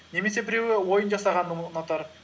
немесе біреуі ойын жасағанды ұнатар